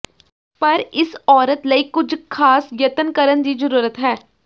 ਪਰ ਇਸ ਔਰਤ ਲਈ ਕੁਝ ਖਾਸ ਯਤਨ ਕਰਨ ਦੀ ਜ਼ਰੂਰਤ ਹੈ